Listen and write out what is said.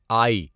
آئی